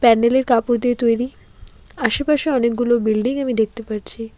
প্যান্ডেল -এর কাপড় দিয়ে তৈরি আশেপাশে অনেকগুলো বিল্ডিং আমি দেখতে পারছি।